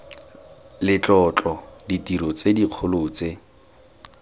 letlotlo ditiro tse dikgolo tse